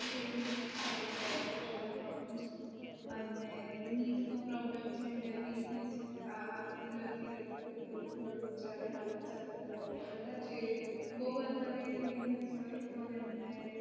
અ એવું નથી ખાલી blood pressure નો problem છે અને weakness આવતી જતી રેહતી હોય તો થોડૂ ત્યારે હાલે ચાલે ત્યારે ક્દાચ એ બોવ વધારે weakness હોય તો એમને